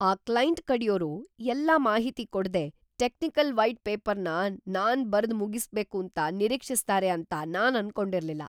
ಆ ಕ್ಲೈಂಟ್ ಕಡೆಯೋರು ಎಲ್ಲಾ ಮಾಹಿತಿ ಕೊಡ್ದೆ ಟೆಕ್ನಿಕಲ್ ವೈಟ್ ಪೇಪರ್ನ ನಾನ್‌ ಬರ್ದ್ ಮುಗಿಸ್ಬೇಕೂಂತ ನಿರೀಕ್ಷಿಸ್ತಾರೆ ಅಂತ ನಾನ್‌ ಅನ್ಕೊಂಡಿರ್ಲಿಲ್ಲ.